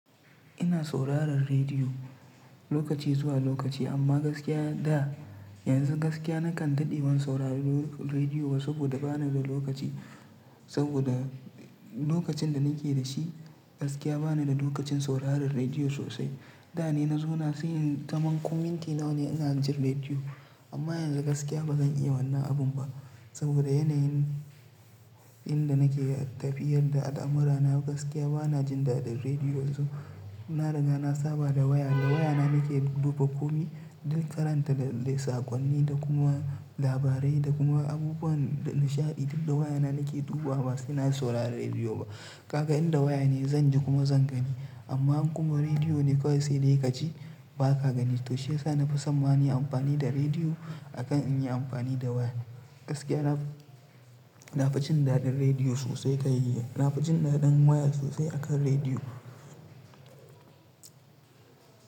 Ina sauraron rediyo lokaci zuwa lokaci amma gaskiya da yanzu gaskiya nakan daɗe ban saurari rediyo ba saboda ba ni da lokaci. Saboda lokacin da nake da shi gaskiya ba ni da lokacin sauraron rediyo sosai. Da ne na zo na sai nayi zaman ko minti nawa ne ina jin rediyo amma yanzu gaskiya bazan iya wannan abun ba saboda yanayin da nake tafiyar da al'amurana gaskiya bana jin daɗin rediyo yanzu. Na riga na saba da waya, da waya na nake duba komai, don karanta lissakonni da kuma labarai da kuma abubuwan da nishaɗi. Da waya na nake duba ba sai na saurari rediyo ba. Ka ga inda waya ne zan ji kuma zan gani amma kuma rediyo ne kawai sai dai ka ji ba ka gani. To shiyasa na fi son ma na yi amfani da rediyo akan in yi amfani da waya. Gaskiya na na fi jin daɗin rediyo sosai ka yi, na fi jin daɗin waya sosai akan rediyo.